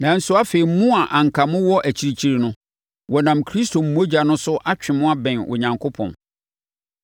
Nanso, afei mo a na anka mowɔ akyirikyiri no, wɔnam Kristo mogya no so atwe mo abɛn Onyankopɔn.